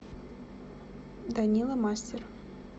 данила мастер